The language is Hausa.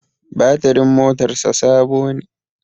Batirin motar sa Sabo ne